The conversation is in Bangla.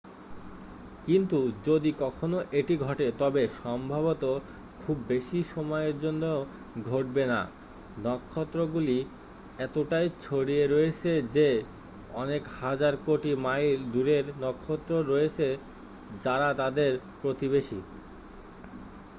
"কিন্তু যদি কখনও এটি ঘটে তবে সম্ভবত খুব বেশি সময়ের জন্য ঘটবে না। নক্ষত্রগুলি এতটাই ছড়িয়ে রয়েছে যে কয়েক হাজার কোটি মাইল দুরের নক্ষত্র রয়েছে যারা তাদের "প্রতিবেশী""।